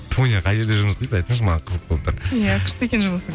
тоня қай жерде жұмыс істейсіз айтыңызшы маған қызық болып тұр иә күшті екен